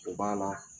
O b'a la